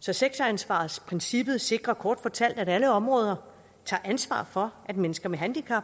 så sektoransvarsprincippet sikrer kort fortalt at alle områder tager ansvar for at mennesker med handicap